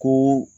Ko